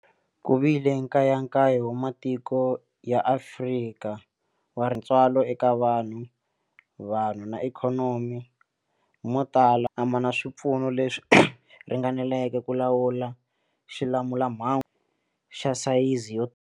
Ku vile nkayakayo wa matiko ya Afrika wa tintswalo eka vanhu, vanhu na ikhonomi, mo tala a ma na swipfuno leswi ringaneleke ku lawula xilamulelamhangu xa sayizi yo.